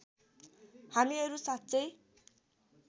हामीहरू साँच्चै